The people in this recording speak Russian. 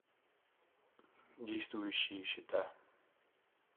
действующие счета